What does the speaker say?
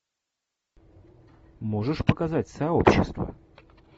можешь показать сообщество